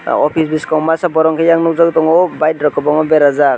o office boskango masa borok hingke eyang nogjagoi tango bike rok kobangma berajak.